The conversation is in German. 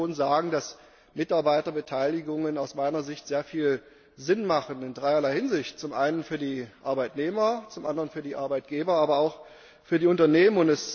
Ich kann schon sagen, dass Mitarbeiterbeteiligungen aus meiner Sicht sehr viel Sinn haben, in dreierlei Hinsicht zum einen für die Arbeitnehmer, zum anderen für die Arbeitgeber, aber auch für die Unternehmen.